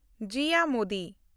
Jiya Modi